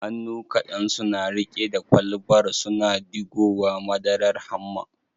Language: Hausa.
Hannu kadan suna rike da kwalbar, suna digowa madarar hamma